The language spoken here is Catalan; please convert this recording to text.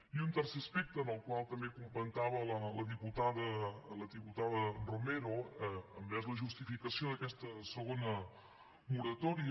i un tercer aspecte que també comentava la diputada romero envers la justificació d’aquesta segona moratòria